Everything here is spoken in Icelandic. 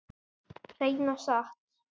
Hreina satt.